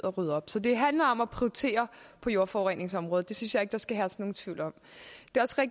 rydde op så det handler om at prioritere på jordforureningsområdet det synes jeg ikke der skal herske nogen tvivl om